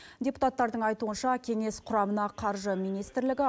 депутаттардың айтуынша кеңес құрамына қаржы министрлігі